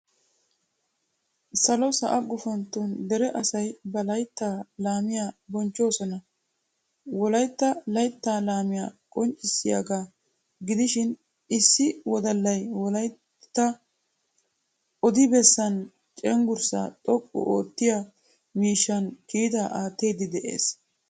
Salo sa"a guufanton dere asayi ba layitta laamiya bonchchoosona. wolaita layitta laamiyaa qoonccissiyaga giidishin issi wooddalay wolaita odi besan cenggurssa xooqqu oottiya miishshan kiitaa attiddi de"ees.